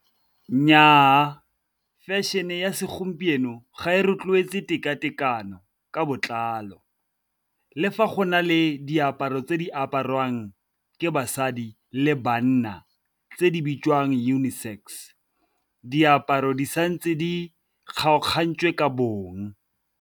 Nnyaa, fashion-e ya segompieno ga e rotloetse tekatekano ka botlalo, le fa go na le diaparo tse di jwang ke basadi le banna tse di bitswang uni sex. Diaparo di sa ntse di kgaogantswe ka bong.